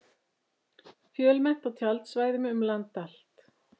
Fjölmennt á tjaldsvæðum um land allt